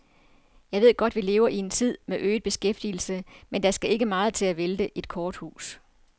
Jeg ved godt, vi lever i en tid med øget beskæftigelse, men der skal ikke meget til at vælte et korthus.